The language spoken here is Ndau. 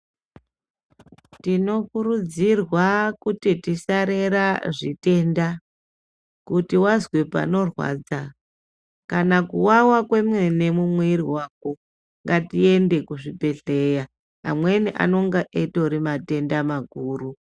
Tinokurudzirwa kuti tisarera zvitenda. Kuti wazwe panorwadza kana kuwawa kwemene mumwiri mwako, ngatiende kuzvibhedhlera amweni anonga atori matenda makuru..